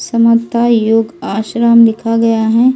समता योग आश्रम लिखा गया है।